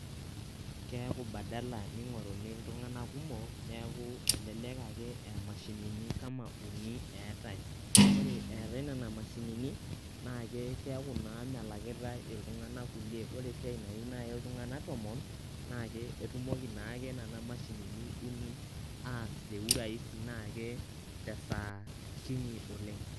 keaku badala ning'oruni iltung'anak kumok ,neaku elelek ake aa mashinini kama uni eetae . ore eetae nena mashinini naa keaku naa melakitae iltung'anak kulie . ore esiai nayieu nai iltung'anak tomon naa etumoki naake nena mashinini uni aas te cs] urahisi cs] na ke tesaa kinyi oleng